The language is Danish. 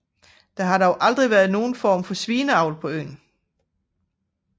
Der har dog aldrig været nogen form for svineavl på øen